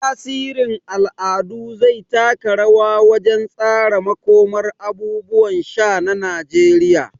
Tasirin al'adu zai taka rawa wajen tsara makomar abubuwan sha na Najeriya.